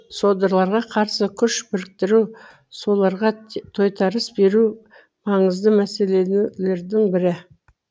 содырларға қарсы күш біріктіру соларға тойтарыс беру маңызды мәселелердің бірі